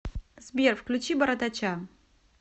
сбер включи бородача